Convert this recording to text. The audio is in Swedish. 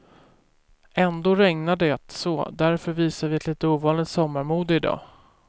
Ändå regnar det så därför visar vi ett lite ovanligt sommarmode i dag.